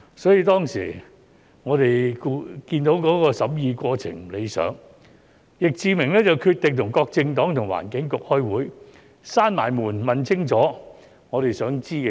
所以，當時我們看到審議過程不理想，易志明議員便決定與各政黨和環境局開會，關上門問清楚我們想知道的事。